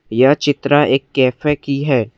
यह चित्र एक कैफे की है।